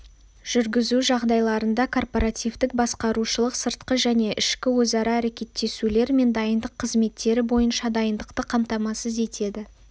жүргізу жағдайларында корпоративтік-басқарушылық сыртқы және ішкі өзара әрекеттесулер мен дайындық қызметтері бойынша дайындықты қамтамасыз етеді